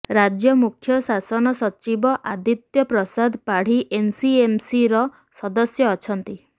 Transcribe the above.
ରାଜ୍ୟ ମୁଖ୍ୟ ଶାସନ ସଚିବ ଆଦିତ୍ୟ ପ୍ରସାଦ ପାଢ଼ୀ ଏନ୍ସିଏମ୍ସିର ସଦସ୍ୟ ଅଛନ୍ତି